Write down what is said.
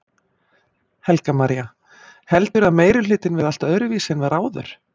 Helga María: Heldurðu að meirihlutinn verði allt öðruvísi en var áður?